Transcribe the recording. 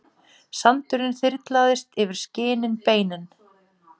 Sandurinn þyrlast yfir skinin beinin.